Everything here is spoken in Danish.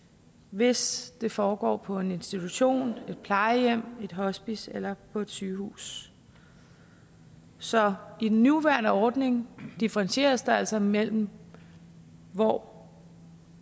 hvis det foregår på en institution et plejehjem et hospice eller på et sygehus så i den nuværende ordning differentieres der altså mellem hvor